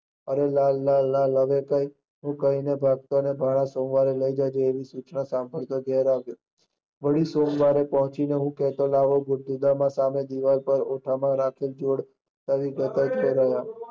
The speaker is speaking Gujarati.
અરે લાલ, લાલ, લાલ, હું કહી ને સાંભળી ભાણા સોમવારે કઈ જજે એવી સૂચના સાંભળતો ઘરે આવ્યો, વાળો સોમવારે આવતા હું કેહતો દીવાલ ની સામે ઓથ રાખતો